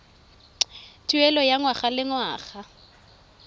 tuelo ya ngwaga le ngwaga